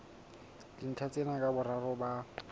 dintlha tsena ka boraro ba